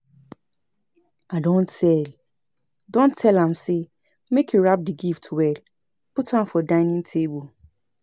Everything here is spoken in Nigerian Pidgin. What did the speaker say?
I don tell don tell am say make he wrap the gift well put am for dinning table